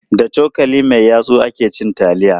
Da cokali mai yatsu ake cin taliya.